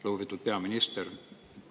Lugupeetud peaminister!